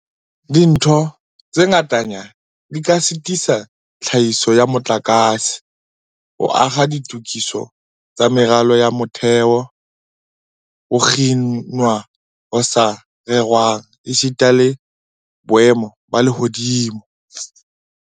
Dintho tse ngatanyana di ka sitisa tlhahiso ya motlakase, ho akga ditokiso tsa meralo ya motheo, ho kginwa ho sa rerwang esita le boemo ba lehodimo.